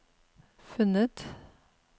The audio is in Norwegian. funnet